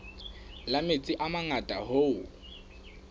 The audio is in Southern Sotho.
la metsi a mangata hoo